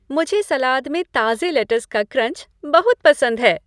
मुझे सलाद में ताज़े लैटस का क्रंच बहुत पसंद है।